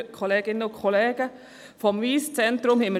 Wir konnten vieles über das Wyss Centre lesen.